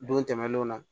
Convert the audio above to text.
Don tɛmɛnlenw na